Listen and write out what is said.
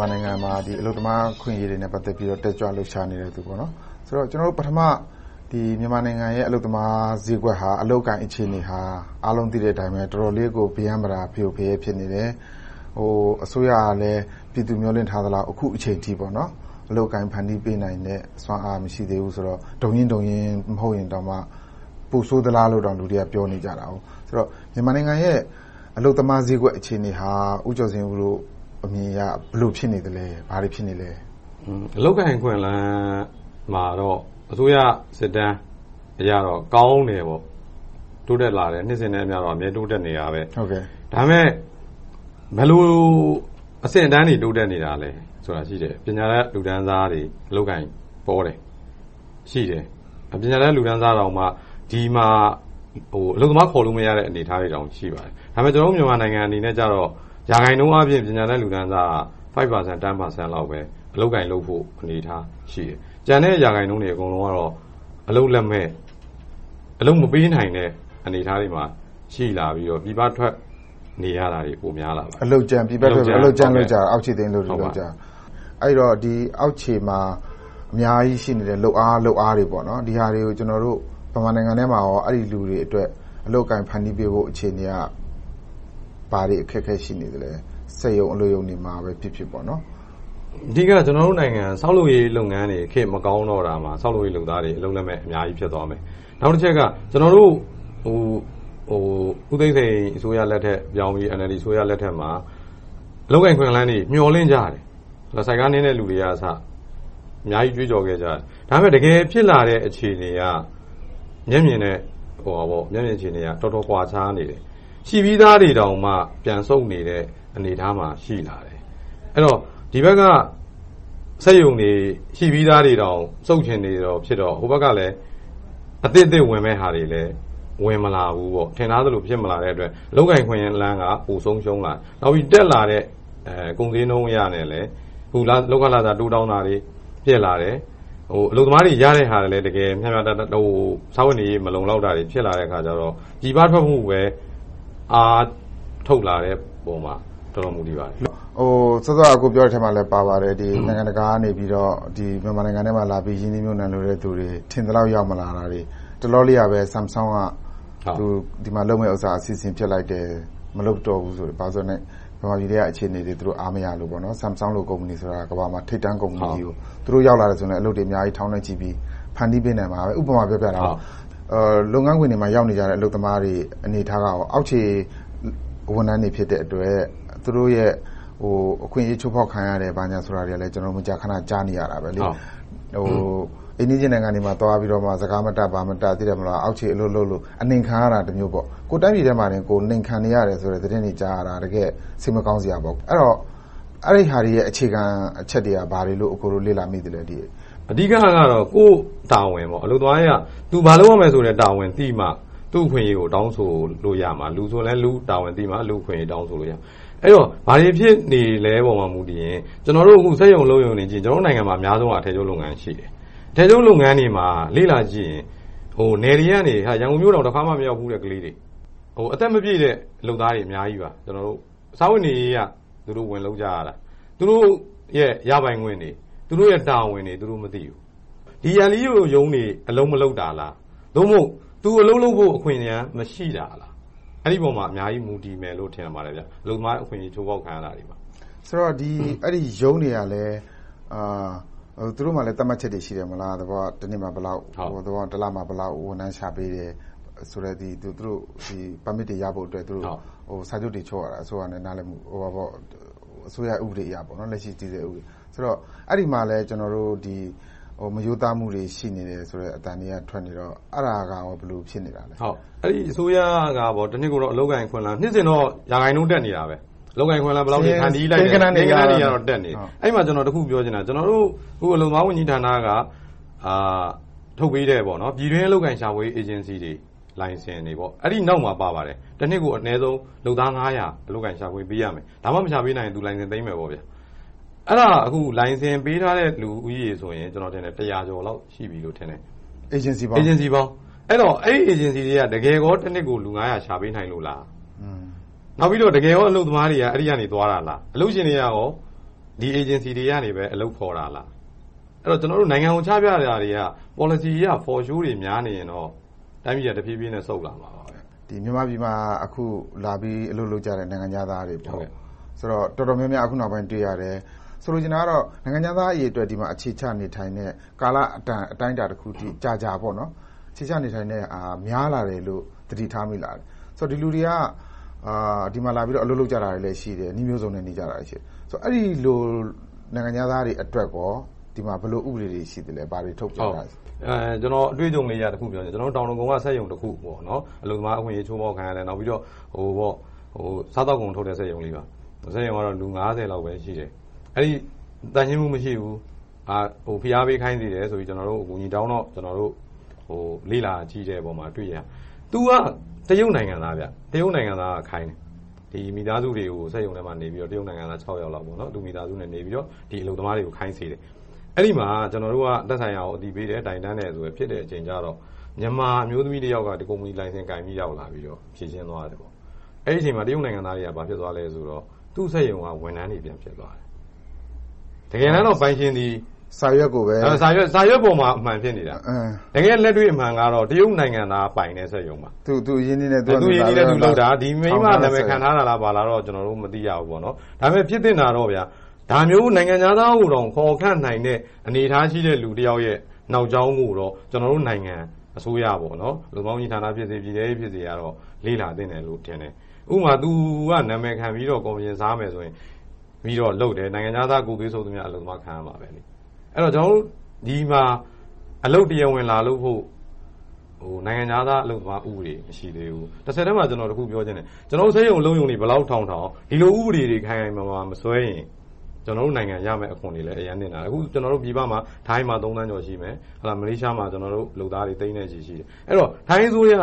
မာနိုင်ငံမှာ အလုပ်သမားအခွင့်အရေးတွေနဲ့ ပတ်သက်ပြီး တက်ကြွလှုပ်ရှားနေတဲ့သူလို့ ကျနော်တို့ သိရပါတယ်။ ပထမဦးဆုံး သိချင်တာက မြန်မာနိုင်ငံရဲ့ အလုပ်သမားဈေးကွက်၊ အလုပ်အကိုင် အခြေအနေဟာ အားလုံးသိတဲ့အတိုင်းပဲ တော်တော်လေးကို ပရမ်းပတာ၊ ဖရိုဖရဲ ဖြစ်နေတယ်။ အစိုးရကလည်း ပြည်သူမျှော်လင့်ထားသလောက် အခုအချိန်အထိ အလုပ်အကိုင် ဖန်တီးပေးနိုင်တဲ့ စွမ်းအားမရှိသေးဘူးဆိုတော့ ဒုံရင်းဒုံရင်း မဟုတ်ရင်တောင်မှ ပိုဆိုးသလားလို့ လူတွေက ပြောနေကြတယ်။ ဆိုတော့ မြန်မာနိုင်ငံရဲ့ အလုပ်သမားဈေးကွက်အခြေအနေဟာ ဦးကျော်ဇင်ဦးတို့ အမြင်အရ ဘယ်လိုဖြစ်နေသလဲ။ ဘာတွေဖြစ်နေသလဲ။ အလုပ်အကိုင် အခွင့်အလမ်းမှာတော့ အစိုးရစစ်တမ်းအရတော့ ကောင်းတယ်။ တိုးတက်လာတယ်။ နှစ်စဉ်နဲ့အမျှတော့ အမြဲတိုးတက်လာနေတယ်။ ဒါပေမဲ့ ဘယ်လိုအဆင့်အတန်းတွေ တိုးတက်နေတာလဲဆိုတာ ရှိတယ်။ ပညာတတ်လူတန်းစားတွေ အလုပ်အကိုင်ပေါတယ်။ ရှိတယ်။ ပညာတတ်လူတန်းစားတောင်မှ ဒီမှာ အလုပ်သမားခေါ်လို့ မရတဲ့ အနေအထားတွေတောင် ရှိပါတယ်။ ဒါပေမဲ့ ကျနော်တို့ မြန်မာနိုင်ငံအနေနဲ့ ပညာတတ်လူတန်းစားက ရာခိုင်နှုန်းအားဖြင့် ၅-၆% လောက်ပဲ အလုပ်အကိုင်လုပ်ဖို့ အနေအထားရှိတယ်။ ကျန်တဲ့ရာခိုင်နှုန်းတွေကတော့ အလုပ်လက်မဲ့၊ အလုပ်မပေးနိုင်တဲ့ အနေအထားတွေမှာ ရှိလာပြီးတော့ ပြည်ပထွက်လာတွေ များလာတယ်။ အလုပ်ကြမ်းနဲ့ အောက်ခြေသိမ်းအလုပ်တွေ လုပ်ကြတာ။ အဲဒီတော့ အောက်ခြေမှာ အများကြီးရှိနေတဲ့ လုပ်အားတွေ ဒီဟာတွေကို မြန်မာနိုင်ငံအတွင်းမှာ အဲဒီလူတွေအတွက် အလုပ်အကိုင် ဖန်တီးပေးဖို့ အခြေအနေတွေက ဘာတွေအခက်အခဲ ရှိနေသလဲ။ စက်ရုံ၊ အလုပ်ရုံတွေမှာပဲ ဖြစ်ဖြစ်။ အဓိက ကျနော်တို့နိုင်ငံက ဆောက်လုပ်ရေး လုပ်ငန်းတွေ ခေတ်မကောင်းတော့တာဟာ ဆောက်လုပ်ရေးလုပ်သားတွေ အလုပ်လက်မဲ့ အများကြီးဖြစ်သွားတယ်။ နောက်တချက်က ဦးသိန်းစိန်အစိုးရလက်ထက်ပြောင်းပြီး NLD အစိုးရလက်ထက်မှာ အလုပ်အကိုင် အခွင့်အလမ်းတွေ မျှော်လင့်ကြတယ်။ ဆိုက်ကားနင်းတဲ့လူတွေကအစ အများကြီးကြွေးကြော်ခဲ့ကြတယ်။ ဒါပေမဲ့ တကယ်ဖြစ်လာတဲ့ အခြေအနေက မျက်မြင်အခြေအနေက တော်တော်ကွာခြားနေတယ်။ ရှိပြီသားတွေတောင်မှ ပြန်ဆုတ်နေတဲ့ အနေအထားမှာ ရှိလာတယ်။ အဲဒီတော့ ဒီဘက်က ရှိပြီသား စက်ရုံတွေတောင် ဆုတ်ချင်နေတာဖြစ်တော့ ဟိုဘက်က အသစ်အသစ် ဝင်ချင်တာတွေလည်း ဝင်မလာဘူး။ ထင်ထားသလို ဖြစ်မလာတဲ့အတွက် အလုပ်အကိုင် အခွင့်အလမ်းက ပိုဆုံးရှုံးလာတယ်။ နောက်ပြီးတော့ တက်လာတဲ့ ကုန်ဈေးနှုန်းအရလည်း - အခု လုပ်ခလစာတွေ ပိုတောင်းတာတွေ ဖြစ်လာတယ်။ အလုပ်သမားတွေ ရတဲ့ဟာလဲ စားဝတ်နေရေး မလုံလောက်တာတွေ ဖြစ်လာတယ်အခါကြတော့ ပြည်ပထွက်ဖို့ပဲ အားထုတ်လာတဲ့ပေါ်မှာ တော်တော်လေးမူတည်ပါတယ်။ စောစောက အကိုပြောတဲ့အထဲမှာလည်း ပါပါတယ်။ နိုင်ငံတကာကနေ မြန်မာပြည်ထဲမှာလာပြီး ရင်းနှီးမြုပ်နံှလိုတဲ့လူတွေ ထင်သလောက် ရောက်မလာဘူး။ တလောလေးကပဲ Samsung က ဒီမှာလုပ်မယ့်ဟာ အစီအစဉ် ဖျက်လိုက်တယ်။ မလုပ်တော့ဘူး။ ဘာဖြစ်လို့လဲဆိုတော့ မြန်မာပြည်ထဲက အခြေအနေတွေကို သူတို့ အားမရလို့။ Samsung လို ကုမ္ပဏီဆိုတာ ကမ္ဘာပေါ်မှာ ထိပ်တန်းကုမ္ပဏီကြီးတခု ဖြစ်တယ်။ သူတို့ရောက်လာရင် အလုပ်တွေ ထောင်နဲ့ချီပြီး ဖန်တီးပေးနိုင်မှာ။ ဒါက ဥပမာပြောပြတာ။ လုပ်ငန်းခွင်မှာ ရောက်နေကြတဲ့ အလုပ်သမားတွေ အနေအထားက၊ အောက်ခြေဝန်ထမ်းတွေ ဖြစ်တဲ့အတွက် သူတို့ရဲ့ အခွင့်အရေး ချိုးဖောက်ခံရတယ်။ ဘာညာဆိုတာတွေကလည်း ကျနော်တို့ မကြာခဏ ကြားရတယ်။ အိမ်နီးချင်းနိုင်ငံတွေမှာ သွားပြီးတော့ စကားမတတ်၊ ဘာမတတ် အောက်ခြေအလုပ်လုပ်လို့ အနှိမ်ခံရတာတမျိုးပေါ့။ ကိုယ့်တိုင်းပြည်ထဲမှာ အနှိမ်ခံနေရတယ်ဆိုတဲ့ သတင်းတွေကြားနေရတာ တကယ့်ကို စိတ်မကောင်းစရာပေါ့။ အဲဒီတော့ အဲဒီဟာတွေရဲ့ အခြေခံအချက်တွေက ဘာတွေလို့ အကိုတို့ လေ့လာမိသလဲ။ အဓိကတော့ ကိုယ့်တာဝန်ပေါ့ - အလုပ်သမားတွေက သူ ဘာလုပ်ရမလဲဆိုတဲ့ တာဝန်ကို သိနေမှု သူ့အခွင့်အရေးကို တောင်းဆိုလို့ရမှာ။ လူဆိုလည်း လူ့တာဝန်သိမှာ လူ့အခွင့်အရေးကို တောင်းဆိုလို့ရမှာ။ အဲဒီတော့ ဘာတွေဖြစ်နေသလဲပေါ် မူတည်ရင် ကျနော်တို့ စက်ရုံအလုပ်ရုံတွေကို ကြည့်လိုက်ရင် ကျနော်တို့နိုင်ငံမှာ အထည်ချုပ်လုပ်ငန်းတွေရှိတယ်။ အထည်ချုပ်လုပ်ငန်းတွေမှာ လေ့လာကြည့်ရင် နယ်တွေကနေ ရန်ကုန်မြို့တော် တခါမှ မရောက်ဘူးတဲ့ ကလေးတွေ။ အသက်မပြည့်တဲ့ လုပ်သားတွေ အများကြီးပါ။ စားဝတ်နေရေးအရ သူတို့ဝင်လုပ်ကြတာ။ သူတို့ရဲ့ ရပိုင်ခွင့်တွေ၊ သူတို့ရဲ့ တာဝန်တွေကို သူတို့မသိဘူး။ အလုပ်သမားဝန်ကြီးဌာန အလုပ်မလုပ်တာလား။ ဒါမှမဟုတ် သူအလုပ်လုပ်ဖို့ အခွင့်အလမ်း မရှိတာလား။ အဲဒီပေါ်မှာ အများကြီး မူတည်မယ်လို့ ထင်ပါတယ်။ အလုပ်သမား အခွင့်အလမ်း ချိုးဖောက်ခဲရတာတွေပါ။ အဲဒီရုံးတွေကလည်း သူတို့ဆီမှာ သတ်မှတ်ချက်တွေ ရှိတယ်မဟုတ်လား။ သဘောက တနှစ်မှာဘယ်လောက်၊ တစ်လမှာ ဘယ်လောက် ဝန်ထမ်းချပေးတယ်ဆိုတဲ့ ပါမစ်တွေရဖို့ စာချုပ်တွေ ချုပ်ရတာ။ လက်ရှိတည်ဆဲ အစိုးရဥပဒေအရ။ အဲဒီမှာလဲ မရိုးသားမှုတွေ ရှိနေတယ်ဆိုတဲ့ အသံတွေက ထွက်နေတော့။ အဲဒါက ဘယ်လိုဖြစ်နေလဲ။ အစိုးရကတော့ နှစ်စဉ်တော့ ရာခိုင်နှုန်း တက်နေတယ်။ အလုပ်အကိုင် အခွင့်အလမ်း ဘယ်လောက် ဖန်တီးလိုက်တယ်။ ကိန်းဂဏန်းတွေအရတော့ တက်နေတယ်။ အဲဒီမှာ ကျနော် တခုပြောချင်တာက အလုပ်သမားဝန်ကြီးဌာနက ထုတ်ပေးတဲ့ ပြည်တွင်းအလုပ်အကိုင် ရှာဖွေရေး အေဂျင်စီတွေလိုင်စင်တွေ နောက်မှာပါပါတယ်။ တနှစ်ကို လုပ်သား ငါးရာ အလုပ်အကိုင် ရှာဖွေပေးရမယ်။ ဒါမှမရှာပေးနိုင်ရင် လိုင်စင်သိမ်းမယ်။ အဲဒါ အခုလိုင်စင်ပေးထားတဲ့လူဦးရေ - အေဂျင်စီပေါင်း တစ်ရာကျော်လောက်ရှိပြီလို့ ထင်တယ်။ အဲဒီ အေဂျင်စီတွေက တကယ်ကော တနှစ်ကို လူငါးရာ ရှာပေးနိုင်လို့လား။ နောက်ပြီးတော့ တကယ်ကော အလုပ်သမားတွေက အဲဒီ အေဂျင်စီတွေက သွားတာလား။ အလုပ်ရှင်တွေက ဒီ အေဂျင်စီတွေဆီက အလုပ်ခေါ်တာလား။ ကျနော်တို့ နိုင်ငံကို ချပြနေတာတွေက ပေါ်လစီတွေက For show တွေ များနေရင်တော့ တိုင်းပြည်က တဖြည်းဖြည်းနဲ့ ဆုတ်လာမှာပဲ။ မြန်မာပြည်မှာ အခုလာပြီး အလုပ်လုပ်ကြတဲ့ နိုင်ငံခြားသားတွေ - တော်တော်များများ အခုနောက်ပိုင်းမှာ တွေ့ရတယ်။ ဆိုလိုချင်တာက နိုင်ငံခြားသား အရေအတွက် ဒီမှာအခြေချနေထိုင်နဲ့ ကာလအတန် အတိုင်းအတာတခုကြာကြာ အခြေချနေထိုင်တဲ့ဟာ များလာတယ်လို့ သတိထားမိလား။ ဒီလူတွေက ဒီမှာအလုပ်လုပ်ကြတာတွေလဲရှိတယ်။ နည်းမျိုးစုံနဲ့ နေနေကြတာတွေရှိတယ်။ အဲဒီလို နိုင်ငံခြားသားတွေအတွက်ကော ဒီမှာ ဘယ်လို ဥပဒေတွေရှိလဲ။ ဘာတွေထုတ်ပြန်ထားလဲ။ ကျနော် အတွေ့အကြုံလေးတခု ပြောပြမယ် - ကျနော်တို့ တောင်ဒဂုံက စက်ရုံတခု - အလုပ်သမား အခွင့်အရေးတွေ ချိုးဖောက်ခံရတယ်။ စားသောက်ကုန်ထုတ်တဲ့ စက်ရုံလေးပါ။ စက်ရုံကတော့ လူငါးဆယ်လောက်ပဲ ရှိတယ်။ သန့်ရှင်းမှု မရှိဘူး။ ဖိအားပေးခိုင်းစေတယ်ဆိုပြီးတော့ ကျနော်တို့ကို အကူအညီတောင်းတော့ လေ့လာကြည့်တဲ့အပေါ်မှာ တွေ့ရတယ်။ သူက တရုတ်နိုင်ငံသားက ခိုင်းတယ်။ မိသားစုတွေကို စက်ရုံထဲမှာ နေစေပြီး တရုတ်နိုင်ငံသား ခြောက်ယောက်လောက် သူတို့မိသားစုနဲ့နေပြီးတော့ အလုပ်သမားတွေကိုခိုင်းတယ်။ အဲဒီမှာ ကျနော်တို့က သက်ဆိုင်ရာကို အသိပေးစေတယ်၊ တိုင်းတန်တယ် ဖြစ်တဲ့အချိန်ကြတော့ မြန်မာအမျိုးသမီးတယောက်က ကုမ္ပဏီလိုင်စင်ကိုင်ပြီး ရောက်လာပြီးတော့ ဖြေရှင်းသွားတယ်။ အဲဒီအချိန်မှာ တရုတ်နိုင်ငံသားတွေက ဘာဖြစ်သွားလဲဆိုတော့ သူ့စက်ရုံက ဝန်ထမ်းတွေ ပြန်ဖြစ်သွားတယ်။ တကယ်တမ်းတော့ ပိုင်ရှင်သည် စာရွက်ပေါ်မှာ အမှန်ဖြစ်နေတာ။ တကယ့်လက်တွေ့အမှန်ကတော့ တရုတ်နိုင်ငံသား ပိုင်တဲ့စက်ရုံပါ။ တရုတ်တွေက သူ့တို့အရင်းအနှီးနဲ့ သူတို့လုပ်တာ။ ဒီမိန်းမနာမည် ခံထားတာလားတော့ ကျနော်တို့ မသိရဘူး။ ဒါပေမဲ့ ဖြစ်သင့်တာကတော့ ဒါမျိုး နိုင်ငံခြားသားကိုတောင် ခေါ်ခန့်နိုင်တဲ့ အနေအထားရှိတဲ့ လူတယောက်ရဲ့ နောက်ကြောင်းကိုတော့ ကျနော်တို့နိုင်ငံ အစိုးရ - အလုပ်သမားဝန်ကြီးဌာနဖြစ်စေ၊ ပြည်ထဲရေးဖြစ်စေ လေ့လာသင့်တယ်လို့တော့ ထင်တယ်။ ဥပမာ သူက နာမည်ခံပြီးတော့ ကော်မရှင်စားမယ်ဆိုရင် နိုင်ငံခြားသားတွေရဲ့ ဂုတ်သွေးစုပ်တာကို ခံရမယ်။ အဲဒီတော့ ဒီမှာ အလုပ်တရားဝင် လာလုပ်ဖို့ နိုင်ငံခြားသားဥပဒေ မရှိသေးဘူး။ တဆက်တည်းမှာ ကျနော် တခုပြောချင်တယ် - ကျနော်တို့ စက်ရုံအလုပ်ရုံတွေ ဘယ်လောက်ထောင်ထောင် ဒီလို ဥပဒေတွေ ခိုင်ခိုင်မာမာ မဆွဲထားရင် ကျနော်တို့နိုင်ငံရမယ့် အခွင့်အရေးလည်း အတော်လေးနစ်နာတယ်။ ပြည်ပမှာ ထိုင်းမှာ သုံးသန်းကျော်ရှိမယ်။ မလေးရှားမှာ လုပ်သားတွေ သိန်းနဲ့ချီရှိတယ်။ အဲဒီတော့ ထိုင်းအစိုးရ